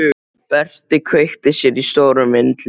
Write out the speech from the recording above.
Berti kveikti sér í stórum vindli.